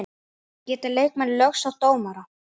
Geta leikmenn lögsótt dómara?